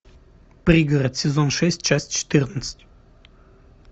пригород сезон шесть часть четырнадцать